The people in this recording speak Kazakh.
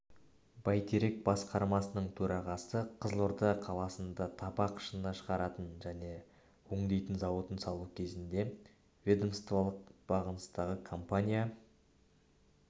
бәйтерек басқармасының төрағасы қызылорда қаласында табақ шыны шығаратын және өңдейтін зауытын салу кезінде ведомстволық бағыныстағы компания